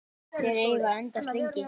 Þeir eiga að endast lengi.